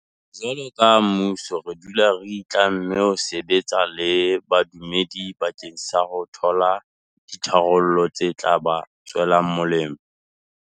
Jwalo ka mmuso re dula re itlamme ho sebetsa le badumedi bakeng sa ho thola ditharollo tse tla ba tswelang molemo.